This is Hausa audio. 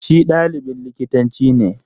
Shi ɗalibin likitanci ne.